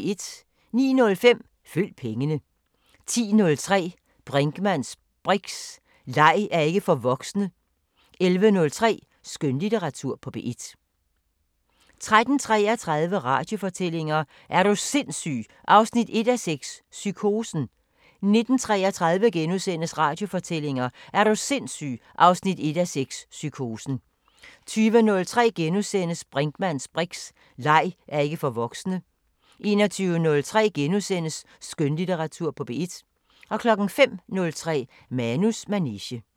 09:05: Følg pengene 10:03: Brinkmanns briks: Leg er ikke for voksne 11:03: Skønlitteratur på P1 13:33: Radiofortællinger: Er du sindsyg 1:6 – Psykosen 19:33: Radiofortællinger: Er du sindsyg 1:6 – Psykosen * 20:03: Brinkmanns briks: Leg er ikke for voksne * 21:03: Skønlitteratur på P1 * 05:03: Manus manege